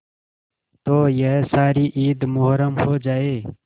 तो यह सारी ईद मुहर्रम हो जाए